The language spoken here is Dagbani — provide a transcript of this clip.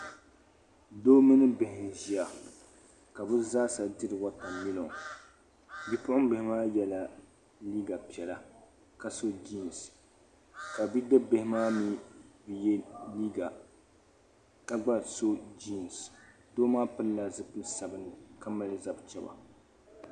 Doo mini bihi n-ʒia ka bɛ zaasa diri watamilo. Bipuɣimbihi maa yɛla liiga piɛla ka so jiinsi ka bidibibihi maa mi bi ye liiga ka gba so jiinsi. Doo maa pilila zipil' sabilinli ka mali zab' chaba.